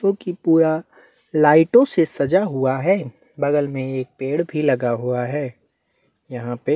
क्युकी कुछ लाइटो से सजा हुआ है बगल मे एक पेड़ भी लगा हुआ है यहाँ पे--